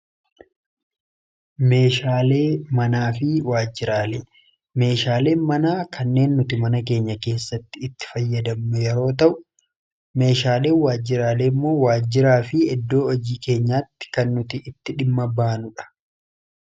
meeshaalee manaa fi waajjiraalee, meeshaaleen manaa kanneen nuti mana keenya keessatti itti fayyadammu yeroo ta'u, meeshaaleen waajjiraalee immoo waajjiraa fi iddoo hojii keenyaatti kan nuti itti dhimma baanudha.